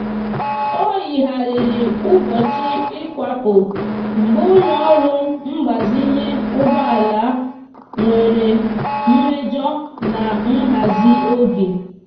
o yigharịrị ụbọchị ịkwapụ mgbe ụlọọrụ mgbazinye ụgbọala nwere mmejọ na nhazi oge.